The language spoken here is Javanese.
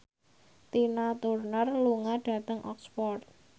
Tina Turner lunga dhateng Oxford